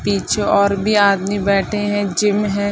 पीछे और भी आदमी बैठे हैं जिम है।